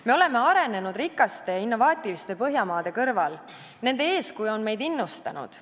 Me oleme arenenud rikaste innovaatiliste Põhjamaade kõrval, nende eeskuju on meid innustanud.